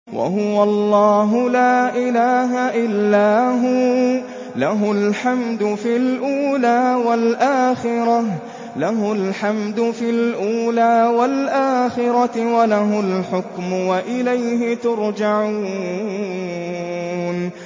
وَهُوَ اللَّهُ لَا إِلَٰهَ إِلَّا هُوَ ۖ لَهُ الْحَمْدُ فِي الْأُولَىٰ وَالْآخِرَةِ ۖ وَلَهُ الْحُكْمُ وَإِلَيْهِ تُرْجَعُونَ